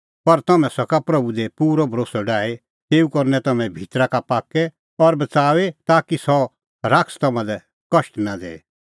पर तम्हैं सका प्रभू दी पूरअ भरोस्सअ डाही तेऊ करनै तम्हैं भितरा का पाक्कै और बच़ाऊई ताकि सह शैतान तम्हां लै कष्ट नां दैए